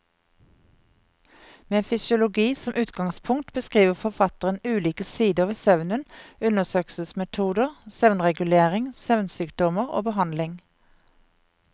Med fysiologi som utgangspunkt beskriver forfatteren ulike sider ved søvnen, undersøkelsesmetoder, søvnregulering, søvnsykdommer og behandling.